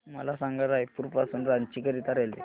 मला सांगा रायपुर पासून रांची करीता रेल्वे